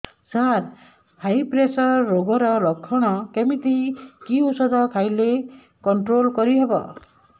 ସାର high pressure ରୋଗର ଲଖଣ କେମିତି କି ଓଷଧ ଖାଇଲେ କଂଟ୍ରୋଲ କରିହେବ